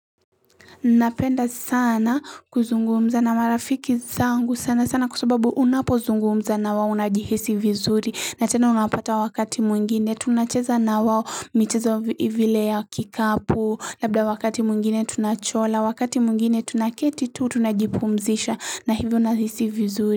Napenda sana kuzungumza na marafiki zangu sana sana kwa sababu unapozungumza na wao unajihisi vizuri na tena unapata wakati mwingine tunacheza na wao michezo vile ya kikapu labda wakati mwingine tunachora wakati mwingine tunaketi tu tunajipumzisha na hivyo nahisi vizuri.